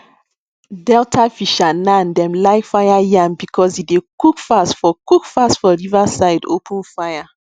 delta fishernan dem like fire yam because e dey cook fast for cook fast for river side open fire